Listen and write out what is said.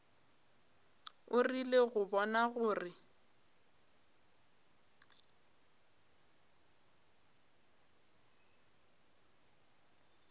o rile go bona gore